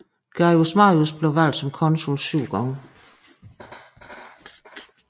Gaius Marius blev valgt som konsul syv gange